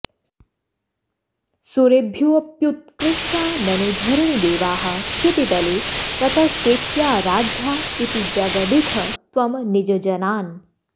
सुरेभ्योऽप्युत्कृष्टा ननु धरणिदेवाः क्षितितले ततस्तेऽप्याराध्या इति जगदिथ त्वं निजजनान्